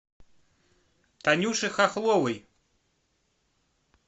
танюши хохловой